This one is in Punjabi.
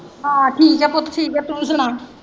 ਹਾਂ ਠੀਕ ਹੈ ਪੁੱਤ ਠੀਕ ਹੈ ਤੂੰ ਸੁਣਾਂ?